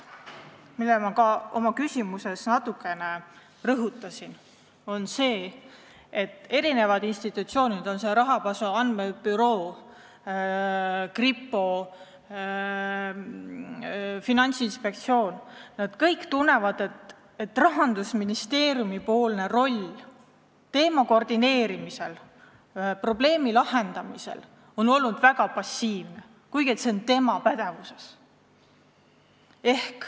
Ma rõhutasin ka oma küsimuses natukene, et eri institutsioonid – rahapesu andmebüroo, kripo, Finantsinspektsioon – kõik tunnevad, et Rahandusministeeriumi roll selle töö koordineerimisel, probleemi lahendamisel on olnud väga passiivne, kuigi see on tema pädevuses.